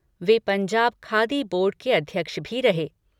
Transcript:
वे Punjab khadi board के अध्यक्ष भी रहे हैं।